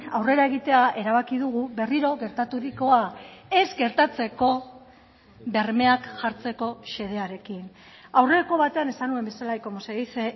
aurrera egitea erabaki dugu berriro gertaturikoa ez gertatzeko bermeak jartzeko xedearekin aurreko batean esan nuen bezala y como se dice